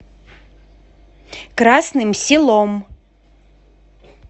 красным селом